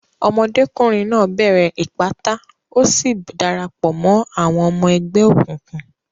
Ọmọdékùnrin náà bẹ̀rẹ̀ ìpátá, ó sì dara pọ̀ mọ́ àwọn ọmọ ẹgbẹ́ òkùnkùn.